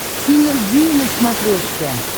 синергия на смотрешке